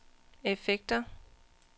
effekter